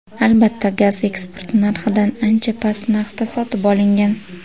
Albatta, gaz eksport narxidan ancha past narxda sotib olingan .